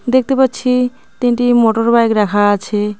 দেখতে পাচ্ছি তিনটি মোটরবাইক রাখা আছে।